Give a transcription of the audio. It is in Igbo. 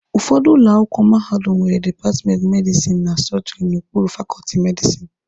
Ụfọdụ ụlọ akwụkwọ mahadum nwere dipatmenti medisini na sọọjịrị n'okpuru fakọọtị medisini.